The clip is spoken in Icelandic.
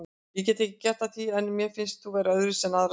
Ég get ekki gert að því en mér finnst hún vera öðruvísi en aðrar stelpur.